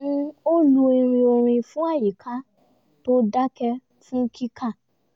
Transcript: ó lu irin orin fún àyíká tó dakẹ́ fún kika